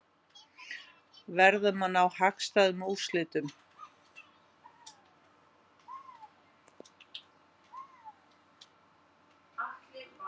Verðum að ná hagstæðum úrslitum